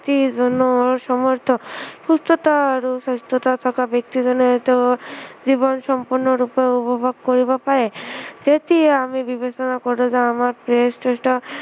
ব্য়ক্তিজনৰ সমস্ত সুস্থতা আৰু সুস্থতা থকা ব্য়ক্তিজনেতো জীৱন সম্পূৰ্ণৰূপে উপভোগ কৰিব পাৰে তেতিয়া আমি বিবেচনা কৰো যে আমাৰ কেইটা